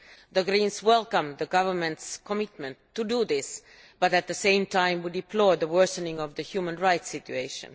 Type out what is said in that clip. The Greens welcome the government's commitment to doing this, but at the same time we deplore the worsening of the human rights situation.